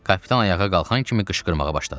Kapitan ayağa qalxan kimi qışqırmağa başladı.